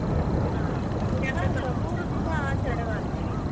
ಹ ಮೂರೂ ದಿನ ಆಚರಣೆ ಮಾಡ್ತೀವಿ.